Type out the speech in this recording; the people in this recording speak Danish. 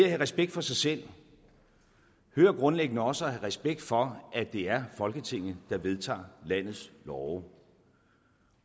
have respekt for sig selv hører grundlæggende også at have respekt for at det er folketinget der vedtager landets love